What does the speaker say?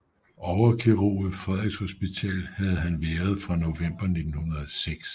Overkirurg ved Frederiks Hospital havde han været fra november 1906